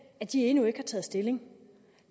at de endnu ikke har taget stilling